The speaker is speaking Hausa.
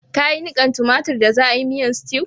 Ka yi nikan tomatir da za'a yi miyan stew?